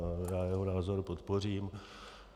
Já jeho názor podpořím.